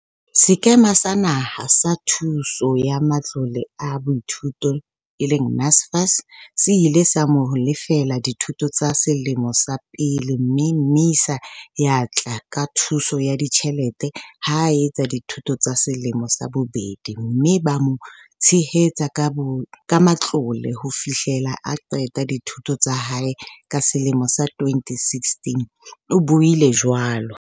"Sekema sa Naha sa Thuso ya Matlole a Baithuti, NSFAS, se ile sa mo lefella dithuto tsa selemo sa pele mme MISA ya tla ka thuso ya ditjhelete ha a etsa dithuto tsa selemo sa bobedi mme ba mo tshehetsa ka matlole ho fihlela a qeta dithuto tsa hae ka selemo sa 2016," o buile jwalo.